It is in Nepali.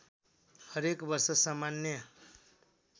हरेक वर्ष सामान्य